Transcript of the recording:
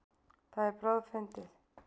Það er bráðfyndið.